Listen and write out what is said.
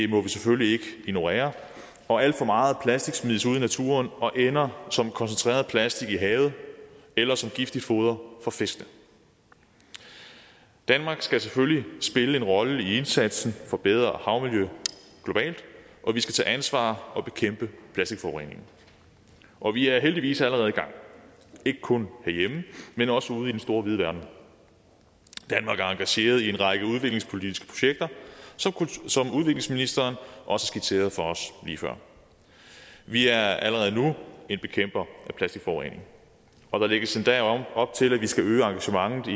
må vi selvfølgelig ikke ignorere og alt for meget plastik smides ud i naturen og ender som koncentreret plastik i havet eller som giftigt foder for fiskene danmark skal selvfølgelig spille en rolle i indsatsen for bedre havmiljø globalt og vi skal tage ansvar og bekæmpe plastikforureningen og vi er heldigvis allerede i gang ikke kun herhjemme men også ude i den store vide verden danmark er engageret i en række udviklingspolitiske projekter som udviklingsministeren også skitserede for os lige før vi er allerede nu en bekæmper af plastikforurening og der lægges endda op til at vi skal øge engagementet i